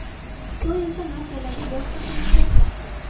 Xitoy esa masalaga boshqacha yondashmoqda.